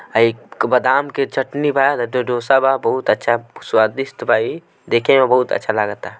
एक बादाम के चटनी बा एगो डोसा बा बहुत अच्छा स्वादिष्ट बा ई देखे में बहुत अच्छा लागता।